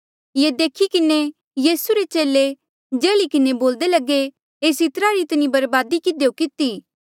ये देखी किन्हें यीसू रे चेले जल्ही किन्हें बोल्दे लगे एस इत्रा री इतनी बरबादी किधियो किती